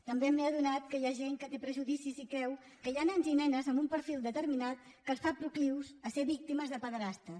també m’he adonat que hi ha gent que té prejudicis i creu que hi ha nens i nenes amb un perfil determinat que els fa proclius a ser víctimes de pederastes